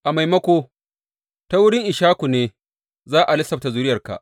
A maimako, Ta wurin Ishaku ne za a lissafta zuriyarka.